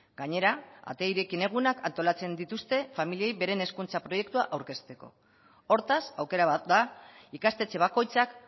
gainera ate irekien egunak antolatzen dituzte familiei beren hezkuntza proiektua aurkezteko hortaz aukera bat da ikastetxe bakoitzak